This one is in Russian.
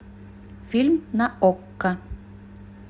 фильм на окко